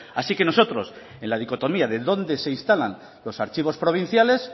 así que nosotros en la dicotomía de dónde se instalan los archivos provinciales